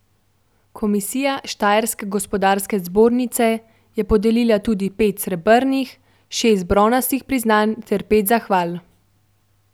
Komisija Štajerske gospodarske zbornice je podelila tudi pet srebrnih, šest bronastih priznanj ter pet zahval.